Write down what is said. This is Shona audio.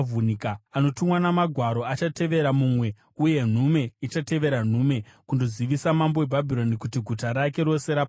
Anotumwa namagwaro achatevera mumwe, uye nhume ichatevera nhume, kundozivisa mambo weBhabhironi kuti guta rake rose rapambwa,